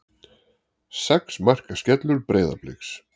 Sex marka skellur Breiðabliks